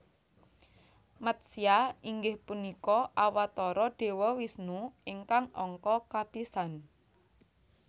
Matsya inggih punika Awatara Dewa Wisnu ingkang angka kapisan